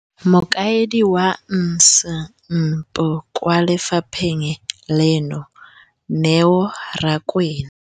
Mokaedi wa NSNP kwa lefapheng leno, Neo Rakwena,